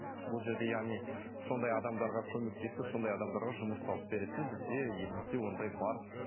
бұл жерде яғни сондай адамдарға көмектесіп сондай адамдарға жұмыс тауып беретін бізде елімізде ондай бар